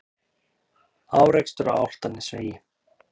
Árekstur á Álftanesvegi